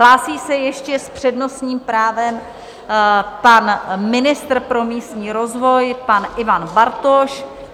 Hlásí se ještě s přednostním právem pan ministr pro místní rozvoj, pan Ivan Bartoš.